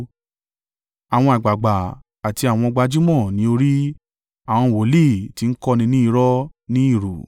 àwọn àgbàgbà, àti àwọn gbajúmọ̀ ní orí, àwọn wòlíì tí ń kọ́ni ní irọ́ ni ìrù.